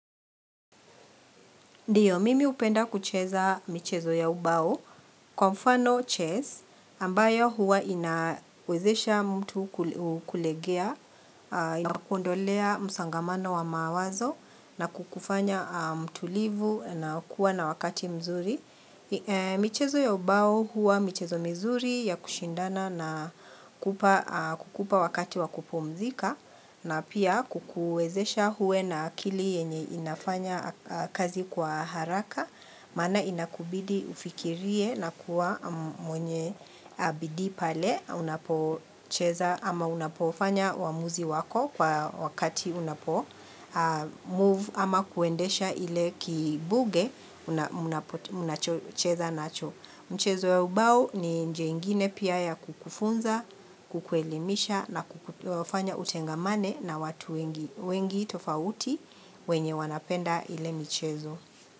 Ndio, mimi hupenda kucheza michezo ya ubao kwa mfano; chess ambayo huwa inawezesha mtu kulegea. Inakuondolea msongamano wa mawazo na kukufanya mtulivu na kuwa na wakati mzuri. Michezo ya ubao huwa michezo mzuri ya kushindana na kukupa wakati wa kupumzika na pia kukuwezesha uwe na akili yenye inafanya kazi kwa haraka maana inakubidi ufikirie na kuwa mwenye bidii pale unapo cheza ama unapofanya uamuzi wako kwa wakati unapo move ama kuendesha ile kibuge mchezo ya ubao ni njia ingine pia ya kukufunza kukuelimisha na kufanya utengamane na watu wengi tofauti wenye wanapenda ile mchezo.